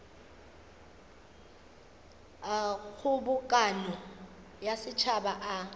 a kgobokano ya setšhaba a